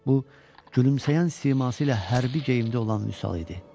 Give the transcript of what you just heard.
Bu, gülümsəyən siması ilə hərbi geyimdə olan Vüsal idi.